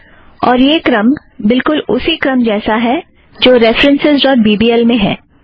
और यह क्रम बिलकुल उसी क्रम जैसा है जो references dot B B L में है